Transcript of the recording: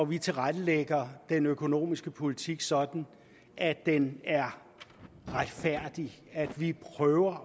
vi tilrettelægger den økonomiske politik sådan at den er retfærdig vi prøver